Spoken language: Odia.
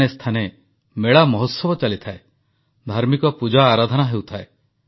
ଆତ୍ମନିର୍ଭର ଭାରତ ଅଭିଯାନରେ ଭର୍ଚୁଆଲ୍ ଗେମ୍ସ ଓ ଖେଳଣା କ୍ଷେତ୍ରର ଭୂମିକା ଖୁବ ଗୁରୁତ୍ୱପୂର୍ଣ୍ଣ